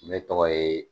Ne tɔgɔ ye